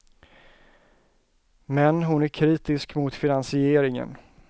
Men hon är kritisk mot finansieringen.